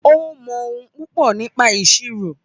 Ó mọ ohun púpọ̀ nípa ìṣirò.